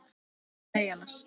Eða nei annars.